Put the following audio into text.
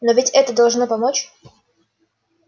но ведь это должно помочь